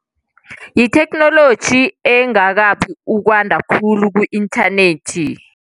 Yitheknoloji engakabi ukwanda khulu ku-inthanethi.